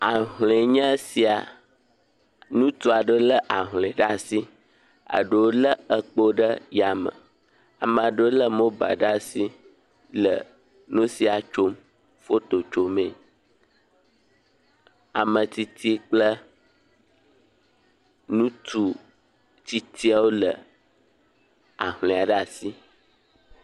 Ahlɔe nye siaa, ŋutsu aɖewo lé ahlɔe ɖe asi, eɖewo lé ekpowo ɖe asi, ame aɖewo lé mobile ɖe asi tsɔ le nu si tsom, foto tso mee, ame tsitsi kple nutsu tsitsiawo le ahlɔe ɖe asi.